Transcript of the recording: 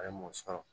A ye mun sɔrɔ